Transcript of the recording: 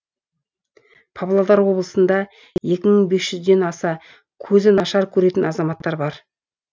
павлодар облысында екі мың бес жүзден аса көзі нашар көретін азаматтар бар